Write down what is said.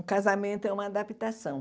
O casamento é uma adaptação.